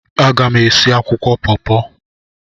Aga m esi akwụkwọ pọọpọ.